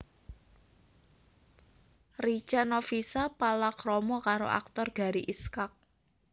Richa Novisha palakrama karo aktor Gary Iskak